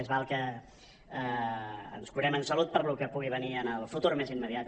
més val que ens curem en salut pel que pugui venir en el futur més immediat